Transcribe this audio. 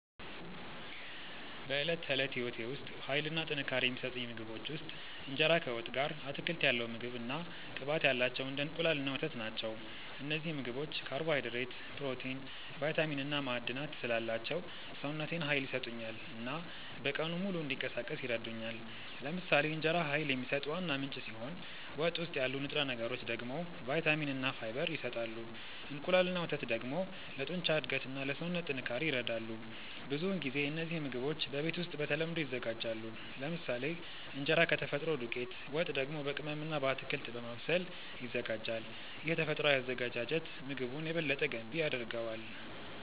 በዕለት ተዕለት ሕይወቴ ውስጥ ኃይል እና ጥንካሬ የሚሰጡኝ ምግቦች ውስጥ እንጀራ ከወጥ ጋር፣ አትክልት ያለው ምግብ እና ቅባት ያላቸው እንደ እንቁላል እና ወተት ናቸው። እነዚህ ምግቦች ካርቦሃይድሬት፣ ፕሮቲን፣ ቫይታሚን እና ማዕድናት ስላላቸው ሰውነቴን ኃይል ይሰጡኛል እና በቀኑ ሙሉ እንዲንቀሳቀስ ይረዱኛል። ለምሳሌ እንጀራ ኃይል የሚሰጥ ዋና ምንጭ ሲሆን ወጥ ውስጥ ያሉ ንጥረ ነገሮች ደግሞ ቫይታሚን እና ፋይበር ይሰጣሉ። እንቁላል እና ወተት ደግሞ ለጡንቻ እድገት እና ለሰውነት ጥንካሬ ይረዳሉ። ብዙውን ጊዜ እነዚህ ምግቦች በቤት ውስጥ በተለምዶ ይዘጋጃሉ፤ ለምሳሌ እንጀራ ከተፈጥሮ ዱቄት፣ ወጥ ደግሞ በቅመም እና በአትክልት በማብሰል ይዘጋጃል። ይህ ተፈጥሯዊ አዘገጃጀት ምግቡን የበለጠ ገንቢ ያደርገዋል።